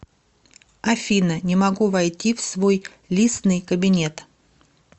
афина не могу войти в свой лисный кабинет